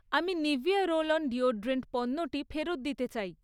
আমি Nivea roll on deodorant পণ্যটি ফেরত দিতে চাই।